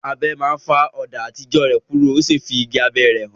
Abẹ náà fá ọ̀dà àtijọ́ náà kúrò, o sì fí igi abẹ́ rẹ̀ hàn.